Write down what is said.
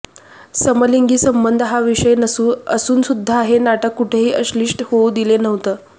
समलिंगी संबंध हा विषय असूनसुद्धा हे नाटक कुठेही अश्लील होऊ दिलं नव्हतं